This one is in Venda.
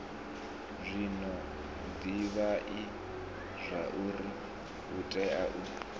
zwino divhai zwauri utea u